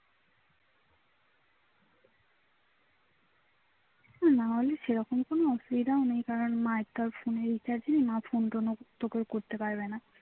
মামা বাড়ি সেরকম কোনো অসুবিধা নেই কারণ মার phone এ recharge নেই. মা phone তোকে করতেও পারবে না